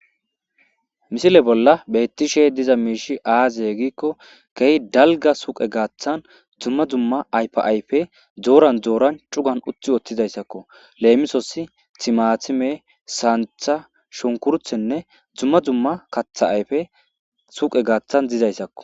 Misile bollan betishe dizayis aze giiko kehi daliga suyqey gathan duma duma ayipey doran doran cugan cugan utiutizaysako lemisos timatime sanitha shukurutenee duma duma katha ayipey suyqey gathan dizayisako